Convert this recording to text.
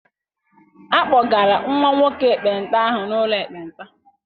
A kpọgala nwa nwoke ekpenta ahụ n'ụlọ ekpenta.